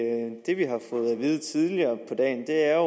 vide tidligere på dagen er